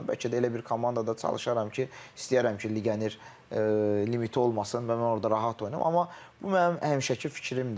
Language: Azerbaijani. Bəlkə də elə bir komandada çalışaram ki, istəyərəm ki, legioner limiti olmasın və mən orda rahat oynayım, amma bu mənim həmişəki fikrimdir.